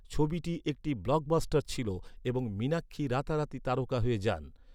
ছবিটি একটি ব্লকবাস্টার ছিল এবং মীনাক্ষী রাতারাতি তারকা হয়ে যান।